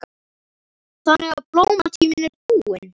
Þannig að blómatíminn er búinn?